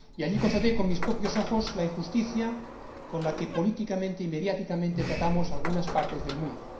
Y allí constaté con mis propios ojos la injusticia con la que política y mediáticamente tratamos a algunas partes del mundo.